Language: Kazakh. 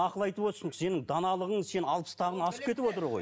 ақыл айтып отырсың сенің даналығың сен алпыстан асып кетіп отыр ғой